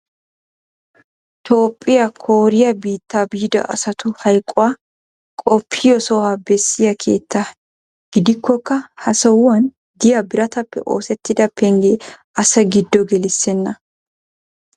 toophiya kooriya biitta biida asatu hayqquwa qoppiyo sohuwa bessiya keettaa. gidikkokka ha sohuwan diya birataappe oosetida pengee asaa giddo gelisenna.